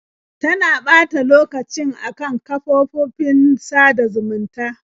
Tana ɓata lokacin a kan kafofofin sada zumunta.